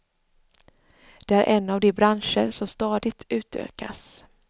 Det är en av de branscher som stadigt utökas.